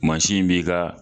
Mansin in b'i ka